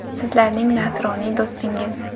Sizlarning nasroniy do‘stingiz”.